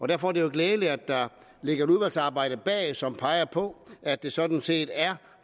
derfor er det jo glædeligt at der ligger et udvalgsarbejde bag som peger på at det sådan set er